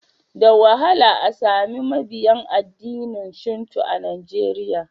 Da wahala a sami mabiyin addinin Shinto a Najeriya.